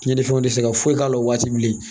Cɛnnifɛnw tɛ se ka foyi k'a la o waati bilen